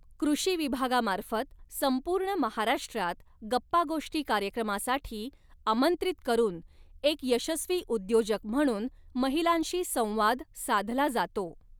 कृषी विभागामार्फत संपूर्ण महाराष्ट्रात गप्पागोष्टि कार्यक्रमासाठी आमंत्रित करून एक यशस्वी उद्योजक म्हणून महिलांशी संवाद साधला जातो.